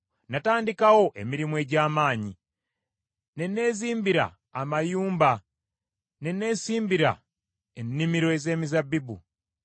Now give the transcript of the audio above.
Natandikawo emirimu egy’amaanyi: ne neezimbira amayumba ne neesimbira ennimiro ez’emizabbibu.